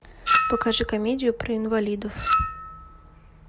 покажи комедию про инвалидов